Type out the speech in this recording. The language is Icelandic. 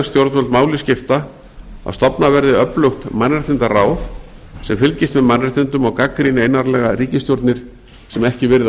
stjórnvöld máli skipta að stofnað verði öflugt mannréttindaráð sem fylgist með mannréttindum og gagnrýni einarðlega ríkisstjórnir sem ekki virða